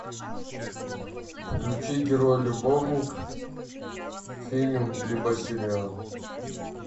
включи герой любовник фильм либо сериал